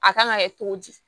A kan ka kɛ cogo di